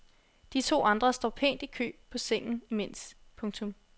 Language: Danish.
De to andre står pænt i kø på sengen imens. punktum